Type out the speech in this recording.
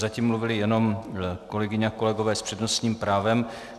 Zatím mluvili jenom kolegyně a kolegové s přednostním právem.